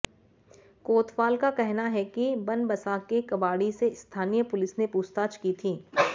कोतवाल का कहना है कि बनबसा के कबाड़ी से स्थानीय पुलिस ने पूछताछ की थी